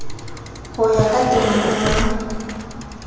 ho ya ka temana ya